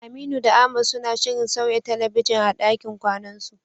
Aminu da Ahmad suna shirin sauya talabijin a ɗakin kwanansu.